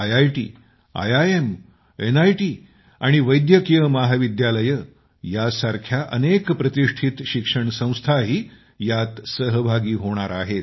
IIT IIM NIT आणि वैद्यकीय महाविद्यालये यांसारख्या अनेक प्रतिष्ठित शिक्षण संस्थाही यात सहभागी होणार आहेत